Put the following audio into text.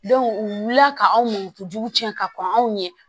u wulila ka anw nugu jugu tiɲɛ ka k'anw ye